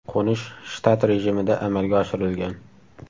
Qo‘nish shtat rejimida amalga oshirilgan.